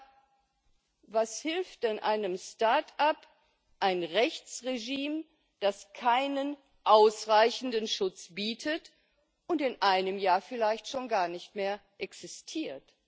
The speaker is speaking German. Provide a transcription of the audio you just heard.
Aber was hilft denn einem Start up ein Rechtsregime, das keinen ausreichenden Schutz bietet und in einem Jahr vielleicht schon gar nicht mehr existiert?